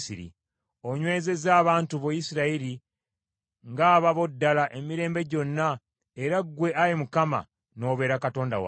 Onywezezza abantu bo, Isirayiri ng’ababo ddala emirembe gyonna era ggwe Ayi Mukama wafuuka Katonda waabwe.